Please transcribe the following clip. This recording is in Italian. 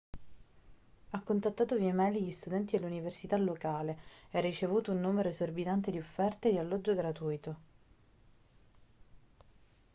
ha contattato via e-mail gli studenti dell'università locale e ha ricevuto un numero esorbitante di offerte di alloggio gratuito